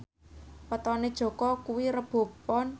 wetone Jaka kuwi Rebo Pon